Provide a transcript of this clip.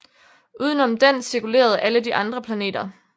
Uden om den cirkulerede alle de andre planeter